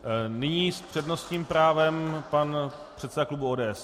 Nyní s přednostním právem pan předseda klubu ODS.